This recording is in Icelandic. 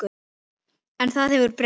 En það hefur breyst.